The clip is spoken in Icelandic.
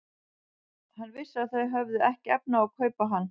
Hann vissi að þau höfðu ekki haft efni á að kaupa hann.